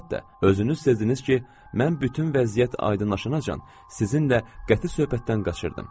Əlbəttə, özünüz sezdirsiniz ki, mən bütün vəziyyət aydınlaşanacan sizinlə qəti söhbətdən qaçırdım.